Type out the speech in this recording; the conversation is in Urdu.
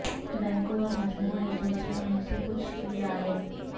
بینکوں اور مجموعہ ایجنسیوں میں سے کچھ کی رائے